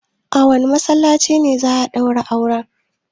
A wane masallacin za a daura auren?